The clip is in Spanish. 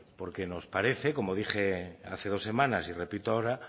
porque nos parece como dije hace dos semanas y repito ahora